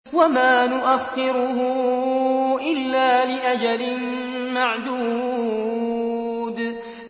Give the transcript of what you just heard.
وَمَا نُؤَخِّرُهُ إِلَّا لِأَجَلٍ مَّعْدُودٍ